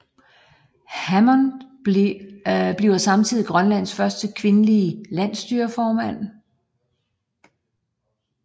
Hammond bliver samtidig Grønlands første kvindelige Landsstyreformand